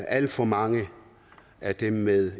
alt for mange af dem med